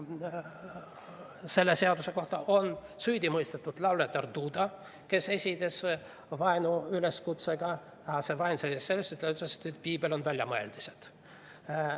Selle seaduse alusel on süüdi mõistetud lauljatar Duda, kes esines vaenuüleskutsega, aga vaen seisnes selles, et ta ütles, et Piibel on väljamõeldis.